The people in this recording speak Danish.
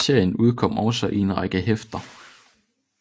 Serien udkom også i en række hæfter